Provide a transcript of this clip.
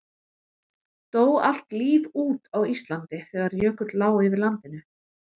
Dó allt líf út á Íslandi þegar jökull lá yfir landinu?